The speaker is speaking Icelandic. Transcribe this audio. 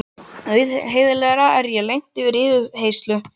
Auðheyrilega er ég lent í yfirheyrslu.